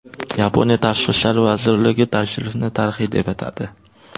Yaponiya tashqi ishlar vazirligi tashrifni tarixiy deb atadi.